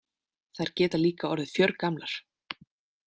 Þær geta líka orðið fjörgamlar.